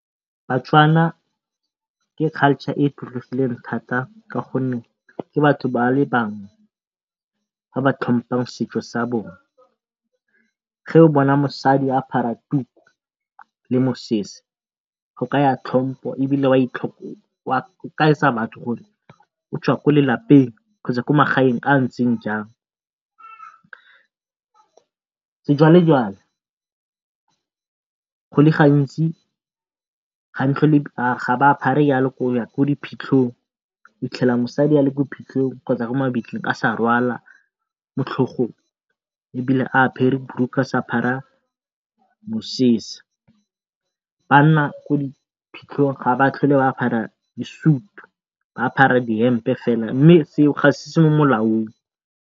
Batswana ke culture e e tlotlegileng thata ka gonne ke batho ba le bangwe ba ba tlhompang setso sa bona ge o bona mosadi a apara tuku le mosese go kaya tlhompho ebile o kaetsa batho gore o tswa ko lelapeng kgotsa ko magaeng a a ntseng jang. Sejwalejwale go le gantsi ga ba apare jalo ko diphitlhong o fitlhela mosadi ale ko phitlhong kgotsa ko mabitleng ba sa rwala motlhogong, ebile a apere borokgwe a sa apara mosese. Banna ko di phitlhong ga ba tlhole ba apara disutu ba apara di-hemp-e fela mme seo ga ese se se mo molaong.